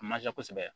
A man ca kosɛbɛ